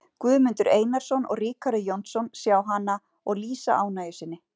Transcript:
Guðmundur Einarsson og Ríkarður Jónsson sjá hana og lýsa ánægju sinni.